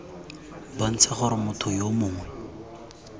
bontsha gore motho yo mongwe